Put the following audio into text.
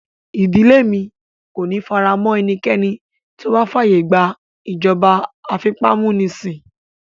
Ìdílé mi kò ní faramọ́ ẹnikẹ́ni tó bá fàyè gba ìjọba afipámúnisìn